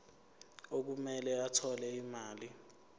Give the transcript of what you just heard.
okumele athole imali